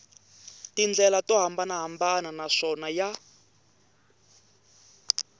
tindlela to hambanahambana naswona ya